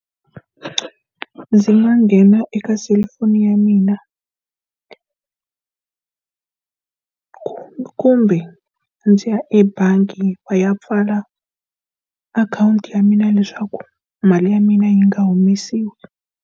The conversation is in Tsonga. Ndzi nga nghena eka selufoni ya mina kumbe ndzi ya ebangi va ya pfala akhawunti ya mina leswaku mali ya mina yi nga humesiwi.